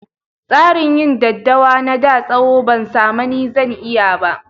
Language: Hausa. Tsarin yin daddawa na da tsawo, ban samani zan iya ba.